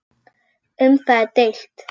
Um það er deilt.